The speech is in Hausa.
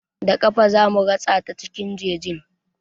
Da ƙafa zamu ratsa ta cikin jejin.